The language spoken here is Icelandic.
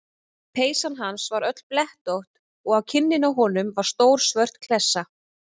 Peysan hans var öll blettótt og á kinninni á honum var stór svört klessa.